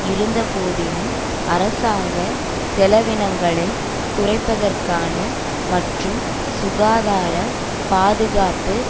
இருந்த போதினும் அரசாங்க செலவினங்களை குறைப்பதற்கான மற்றும் சுகாதார பாதுகாப்பு